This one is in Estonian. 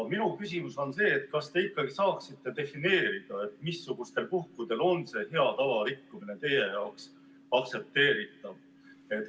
Minu küsimus on selline: kas te saaksite defineerida, missugustel puhkudel on hea tava rikkumine teie jaoks aktsepteeritav?